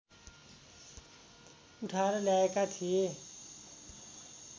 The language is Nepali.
उठाएर ल्याएका थिए